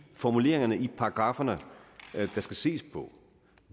formuleringerne i paragrafferne der skal ses på